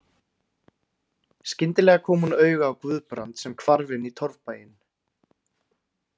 Skyndilega kom hún auga á Guðbrand sem hvarf inn í torfbæinn.